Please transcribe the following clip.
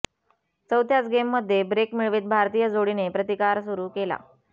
चौथ्याच गेममध्ये ब्रेक मिळवित भारतीय जोडीने प्रतिकार सुरू केला